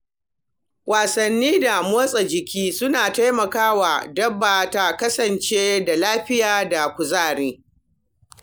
Wasanni da motsa jiki suna taimaka wa dabba ta kasance da lafiya da kuzari.